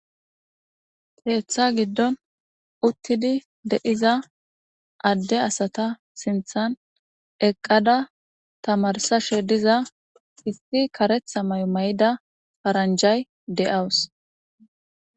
Keeththa giddon uttidi de7iza adde asata sinthan eqqada tamarsashe diza isti karetha may7o may7da paranjay de7awus